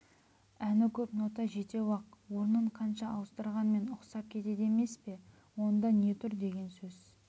әні көп нота жетеуі-ақ орнын қанша ауыстырғанмен ұқсап кетеді емес пе онда не тұр деген сөз